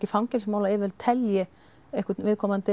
fangelsismálayfirvöld telji einhvern